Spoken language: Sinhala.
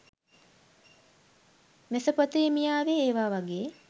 මෙසපොතේමියාවේ ඒවා වගේ